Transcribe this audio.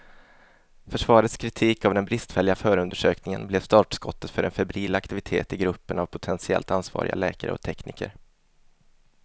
Försvarets kritik av den bristfälliga förundersökningen blev startskottet för en febril aktivitet i gruppen av potentiellt ansvariga läkare och tekniker.